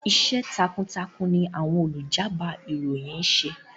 Iṣẹ́ takuntakun ní àwọn olùjábọ̀ ìròyìn ń ṣe.